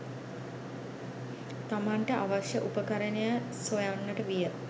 තමන්ට අවශ්‍ය උපකරණය සොයන්නට විය